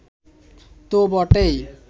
তো বটেই